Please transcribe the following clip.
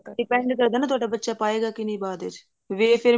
depend ਕਰਦਾ ਨਾ ਤੁਹਾਡਾ ਬੱਚਾ ਪਾਏਗਾ ਕੇ ਨਹੀਂ ਬਾਅਦ ਵਿੱਚ ਤੇ ਫੇਰ